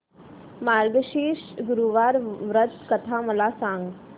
मार्गशीर्ष गुरुवार व्रत कथा मला सांग